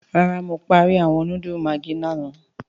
Rárá Mo parí awọn núdúlù maggi lààná